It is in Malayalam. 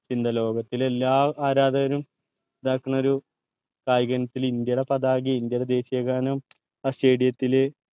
പിന്നെ ലോകത്തിലെ എല്ലാ ആരാധകരും ഇതാക്കണ ഒരു കായിക ഇനത്തിൽ ഇന്ത്യയുടെ ഒരു പതാകം ഇന്ത്യയുടെ ദേശിയ ഗാനം ആ stadium ത്തിൽ